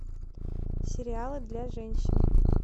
сериалы для женщин